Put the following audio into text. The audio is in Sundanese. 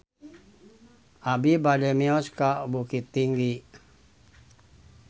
Abi bade mios ka Bukittinggi